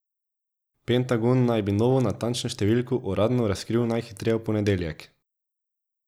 Pentagon naj bi novo natančno številko uradno razkril najhitreje v ponedeljek.